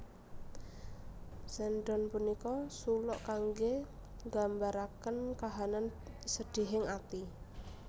Sendhon punika suluk kangge nggambaraken kahanan sedihing ati